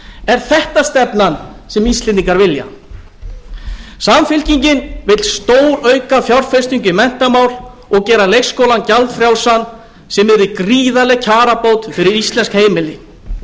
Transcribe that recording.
er þetta stefnan sem íslendingar vilja samfylkingin vill stórauka fjárfestingu í menntamál og gera leikskólann gjaldfrjálsan sem yrði gríðarleg kjarabót fyrir íslensk heimili